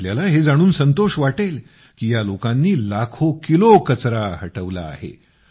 आपल्याला हे समजून संतोष वाटेल की या लोकांनी लाखो किलो कचरा हटवला आहे